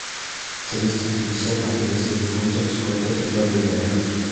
триста пятьдесят английских фунтов сколько это в боливарах